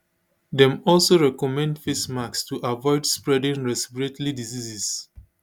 dem also recommend face masks to avoid spreading respiratory diseases